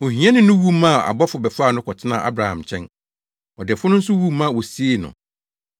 “Ohiani no wu maa abɔfo bɛfaa no kɔtenaa Abraham nkyɛn. Ɔdefo no nso wu ma wosiee no.